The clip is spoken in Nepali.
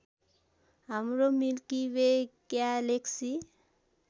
हाम्रो मिल्की वे ग्यालेक्सी